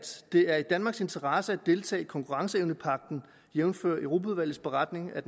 det er i danmarks interesse at deltage i konkurrenceevnepagten jævnfør europaudvalgets beretning af